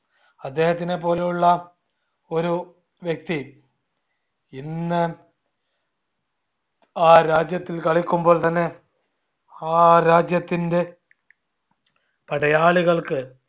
അദ്ദേഹതിനെ പോലെയുള്ള ഒരു വ്യക്തി ഇന്ന് ആ രാജ്യത്തിൽ കളിക്കുമ്പോൾ തന്നെ ആ രാജ്യത്തിൻറെ പടയാളികൾക്ക്